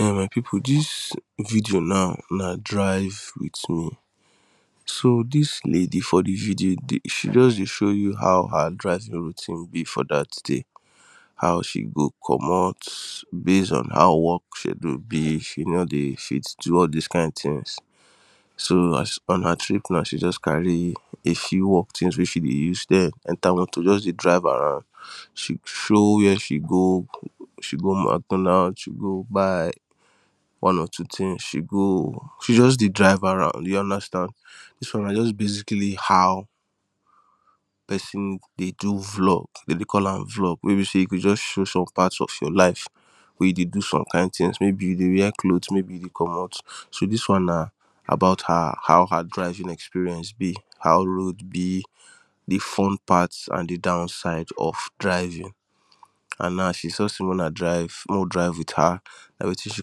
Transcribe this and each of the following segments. Eh my people this video na na drive with me so this lady for the video she just dey show you how her driving routine be for that day how she go commot base on how work schedule be she no dey fit do all this kind things so on her trip now she just carry a few work things wey she dey use then enter motor just dey drive around she show where she go she go ma She go buy one or two things she go she just dey drive around you understand this one na just basically how person dey do vlog dem dey call am vlog wey be say you go just show parts of your life wey you dey do some kind things maybe you dey wear clothes maybe you dey comot so this one na about her how her driving experience be how road be the fun part and the downside of driving and now she show say make Una drive mey we drive with her na wetin she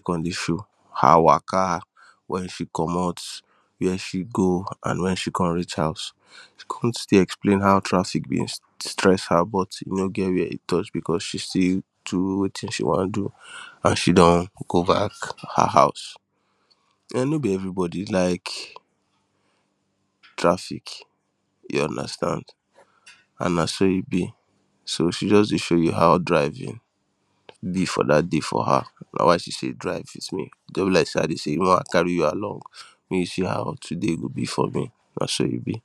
con dey show her waka when she comot where she go and when she comes reach house she come still explain how traffic bin stress her but e no get where e touch because she still do wetin she wan do and she don go back her house[um]no be everybody like traffic you understand and na so e be so she just dey show you how driving be for that day for her na why she say drive with me e just be like say I dey say make I carry you along make you see how today go be for me na so e be.